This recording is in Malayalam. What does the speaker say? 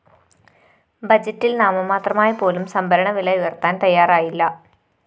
ബജറ്റില്‍ നാമമാത്രമായി പോലും സംഭരണ വില ഉയര്‍ത്താന്‍ തയാറായില്ല